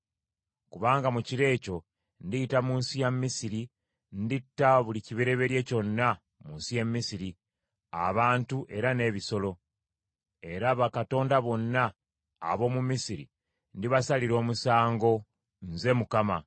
“Kubanga mu kiro ekyo ndiyita mu nsi ya Misiri, nditta buli kibereberye kyonna mu nsi y’e Misiri, abantu era n’ebisolo; era bakatonda bonna ab’omu Misiri ndibasalira omusango. Nze Mukama .